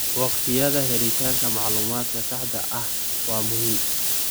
Waqtiyada helitaanka macluumaadka saxda ah waa muhiim.